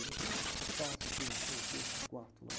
Não, tem um espaço aqui, não sei o quê, tinha um quarto lá.